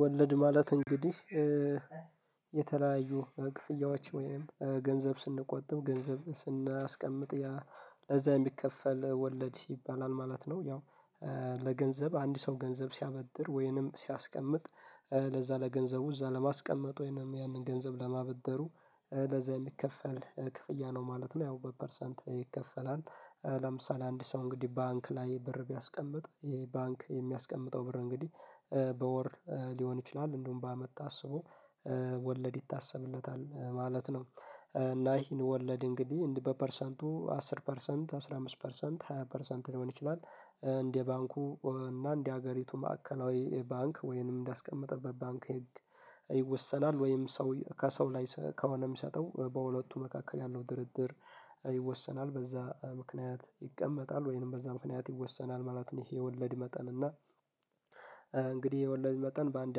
ወለድ ማለት እንግዲህ የተለያዩ ክፍያዎች ወይም ገንዘብ ስንቆጥብ ገንዘብ ስናስቀምጥ ለዛ የሚከፈል ወለድ ይባላል ማለት ነው። ያው ለገንዘብ አንድ ሰው ገንዘብ ሲያበድር ወይንም ሲያስቀምጥ ለዛ ለገንዘቡ እዛ ለማስቀመጥ ወይንም ያንን ገንዘብ ለማበደሩ ለዛ የሚከፈል ክፍያ ነው ማለት ነው። ያው በፐርሰንት ይከፈላል ለምሳሌ አንድ ሰው እንግዲህ ባንክ ላይ ብር ቢያስቀምጥ የባንክ የሚያስቀምጠው ብር እንግዲህ በወር ሊሆን ይችላል እንደውም በአመት ታስቦ ወለድ ይታሰብለታል ማለት ነው። እና ይሄን ወለድ እንግዲህ በፐርሰንቱ አስር ፐርሰንት አስራ አምስት ፐርሰንት ሃያ ፐርሰንት ሊሆን ይችላል እንደ ባንኩ እና እንደ ሀገሪቱ ማዕከላዊ ባንክ ወይንም እንዳስቀመጠበት ባንክ ይወሰናል ወይም ሰው ከሰው ላይ ከሆነ የሚሰጠው በሁለቱ መካከል ያለው ድርድር ይወሰናል በዛ ምክንያት ይቀመጣል ወይንም በዛ ምክንያት ይወሰናል ማለት ነው። ይሄ የወለድ መጠን እና እንግዲህ የወለድ መጠን በአንድ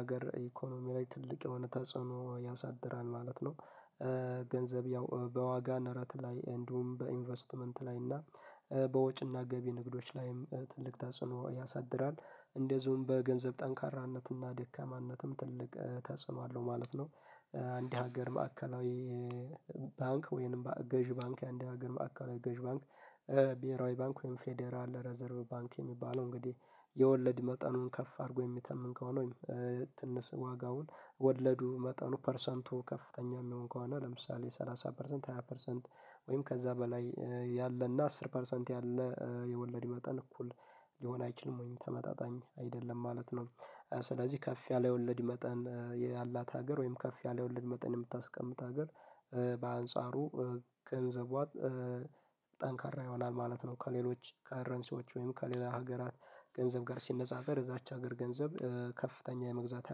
ሀገር ኢኮኖሚ ላይ ትልቅ የሆነ ተጽዕኖ ያሳድራል ማለት ነው። ገንዘብ ያው በዋጋ ነረት ላይ እንዲሁም በኢንቨስትመንት ላይ እና በወጭና ገቢ ንግዶች ላይም ትልቅ ተጽኖ ያሳድራል እንደዚሁም በገንዘብ ጠንካራነትና ደካማነትም ትልቅ ተጽኖ አለው ማለት ነው። አንድ ሀገር ማዕከላዊ ባንክ ወይንም ገዢ ባንክ የአንድ ሀገር ማዕከላዊ ገዢ ባንክ ብሄራዊ ባንክ ወይም ፌዴራል ረዘርቭ ባንክ የሚባለው እንግዲህ የወለድ መጠኑን ከፍ አድርጎ የሚተመን ከሆነ ወይም ትንሽ ዋጋውን ወለዱ መጠኑ ፐርሰንቱ ከፍተኛ የሚሆን ከሆነ ለምሳሌ ሰላሳ ፐርሰንት ሃያ ፐርሰንት ወይም ከዛ በላይ ያለና አስር ፐርሰንት ያለ የወለድ መጠን እኩል ሊሆን አይችልም ወይም ተመጣጣኝ አይደለም ማለት ነው። ስለዚህ ከፍ ያለ ወለድ መጠን ያላት ሀገር ወይም ከፍ ያለ ወለድ መጠን የምታስቀምጥ ሀገር በአንጻሩ ገንዘቧ ጠንካራ ይሆናል ማለት ነው። ከሌሎች ከረንሲዎች ወይም ከሌላ ሀገራት ገንዘብ ጋር ሲነጻጸር እዛች ሀገር ገንዘብ ከፍተኛ የመግዛት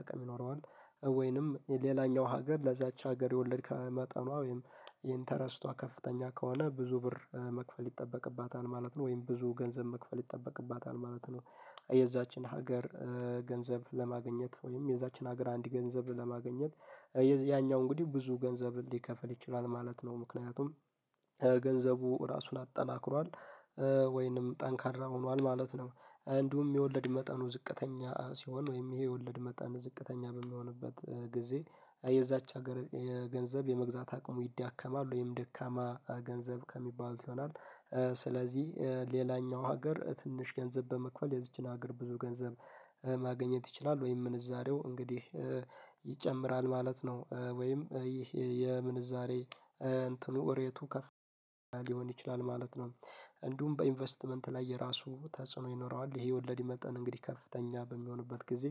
አቅም ይኖረዋል። ወይንም ሌላኛው ሀገር ለዛች ሀገር የወለድ መጠኗ ወይም ኢንተረስቷ ከፍተኛ ከሆነ ብዙ ብር መክፈል ይጠበቅባታል ማለት ነው ወይም ብዙ ገንዘብ መክፈል ይጠበቅባታል ማለት ነው። የዛችን ሀገር ገንዘብ ለማግኘት ወይም የዛችን ሀገር አንድ ገንዘብ ለማግኘት ያኛው እንግዲህ ብዙ ገንዘብ እንዲከፈል ይችላል ማለት ነው። ምክንያቱም ገንዘቡ ራሱን አጠናክሯል ወይንም ጠንካራ ሆኗል ማለት ነው። እንዲሁም የወለድ መጠኑ ዝቅተኛ ሲሆን ወይም ይሄ የወለድ መጠን ዝቅተኛ በሚሆንበት ጊዜ የዛች ሀገር የገንዘብ የመግዛት አቅሙ ይዳከማሉ ወይም ደካማ ገንዘብ ከሚባል ይሆናል። ስለዚህ ሌላኛው ሀገር ትንሽ ገንዘብ በመክፈል የዚችን ሀገር ብዙ ገንዘብ ማግኘት ይችላል ወይም ምንዛሬው እንግዲህ ይጨምራል ማለት ነው። ወይም ይህ የምንዛሬ እንትኑ ሪየቱ ከፍ ያለ ሊሆን ይችላል ማለት ነው። እንዲሁም በኢንቨስትመንት ላይ የራሱ ተጽዕኖ ይኖረዋል ይሄ ወለድ መጠን እንግዲህ ከፍተኛ በሚሆንበት ጊዜ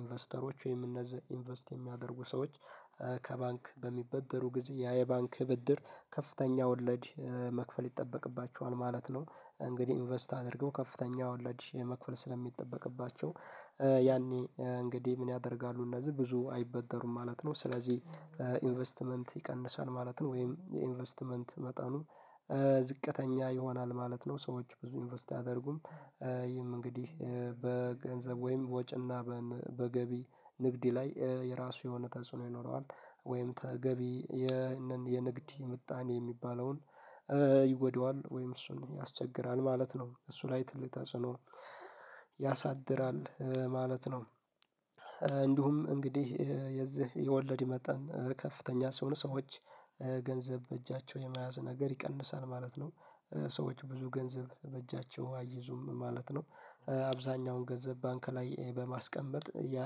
ኢንቨስተሮች ወይም እነዚህ ኢንቨስት የሚያደርጉ ሰዎች ከባንክ በሚበደሩ ጊዜ ያ የባንክ ብድር ከፍተኛ ወለድ መክፈል ይጠበቅባቸዋል ማለት ነው። እንግዲህ ኢንቨስት አድርገው ከፍተኛ ወለድ የመክፈል ስለሚጠበቅባቸው ያኔ እንግዲህ ምን ያደርጋሉ እነዚህ ብዙ አይበደሩም ማለት ነው። ስለዚህ ኢንቨስትመንት ይቀንሳል ማለት ነው ወይም የኢንቨስትመንት መጠኑ ዝቅተኛ ይሆናል ማለት ነው። ሰዎች ብዙ ኢንቨስት አያደርጉም ይህም እንግዲህ በገንዘብ ወይም በወጪና በገቢ ንግድ ላይ የራሱ የሆነ ተጽዕኖ ይኖረዋል። ወይም ተገቢ የንግድ ምጣኔ የሚባለውን ይጎዳዋል ወይም እሱን ያስቸግራል ማለት ነው። እሱ ላይ ትልቅ ተጽዕኖ ያሳድራል ማለት ነው። እንዲሁም እንግዲህ የዚህ የወለድ የመጠን ከፍተኛ ሲሆኑ ሰዎች ገንዘብ በእጃቸው የመያዝ ነገር ይቀንሳል ማለት ነው። ሰዎች ብዙ ገንዘብ በእጃቸው አይዙም ማለት ነው። አብዛኛውን ገንዘብ ባንክ ላይ በማስቀመጥ ያ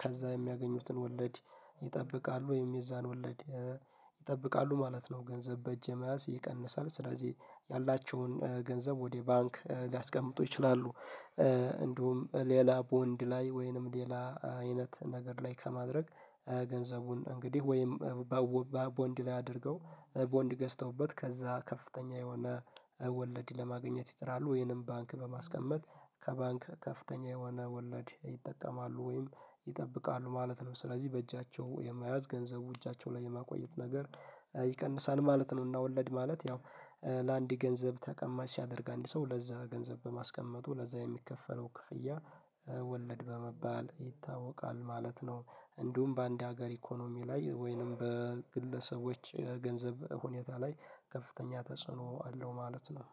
ከዛ የሚያገኙትን ወለድ ይጠብቃሉ ወይም የዛን ወለድ ይጠብቃሉ ማለት ነው። ገንዘብ በእጄ መያዝ ይቀንሳል ስለዚህ ያላቸውን ገንዘብ ወደ ባንክ ሊያስቀምጡ ይችላሉ። እንዲሁም ሌላ ቦንድ ላይ ወይንም ሌላ አይነት ነገር ላይ ከማድረግ ገንዘቡን እንግዲህ ወይም በቦንድ ላይ አድርገው ቦንድ ገዝተውበት ከዛ ከፍተኛ የሆነ ወለድ ለማግኘት ይጥራሉ ወይንም ባንክ በማስቀመጥ ከባንክ ከፍተኛ የሆነ ወለድ ይጠቀማሉ ወይም ይጠብቃሉ ማለት ነው። ስለዚህ በእጃቸው የመያዝ ገንዘቡ እጃቸው ላይ የማቆየት ነገር ይቀንሳል ማለት ነው። እና ወለድ ማለት ያው ለአንድ ገንዘብ ተቀማጭ ሲያደርግ አንድ ሰው ለዛ ገንዘብ በማስቀመጡ ለዛ የሚከፈለው ክፍያ በመባል ይታወቃል ማለት ነው። እንዲሁም በአንድ ሀገር ኢኮኖሚ ላይ ወይንም በግለሰቦች ገንዘብ ሁኔታ ላይ ከፍተኛ ተጽዕኖ አለው ማለት ነው።